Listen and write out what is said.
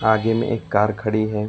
आगे में एक कार खड़ी है।